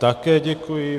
Také děkuji.